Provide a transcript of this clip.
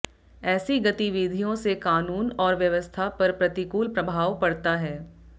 ऐसी गतिविधियों से कानून और व्यवस्था पर प्रतिकूल प्रभाव पड़ता है